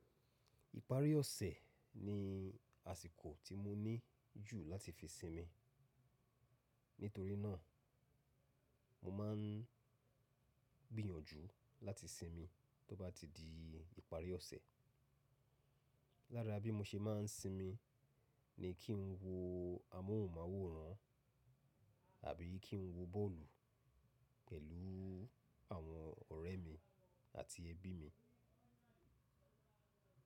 Ìparí ọ̀sẹ̀ ni àsìkò tí mo ní jù láti fi sinmi. Nítorí náà, mo máa ń gbìyànjú láti sinmi tó bá ti di ìparí ọ̀sẹ̀. Lára bí mo ṣe má ń sinmi ni kí n wo amóhùnmáwòrán àbí kí n wo bọ́ọ̀lù pẹ̀lú àwọn ọ̀rẹ́ mi àti ẹbí mi.